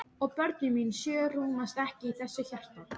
Og börnin mín sjö rúmast ekki í þessu hjarta.